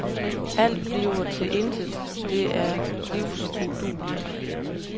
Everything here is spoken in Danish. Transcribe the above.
Alt andet bliver til intet, det er livsudueligt.